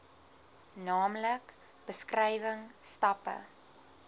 naamlik beskrywing stappe